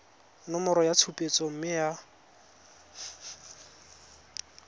nomoro ya tshupetso mme ya